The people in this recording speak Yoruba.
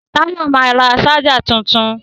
Táyọ̀ ma ra ṣájà tuntun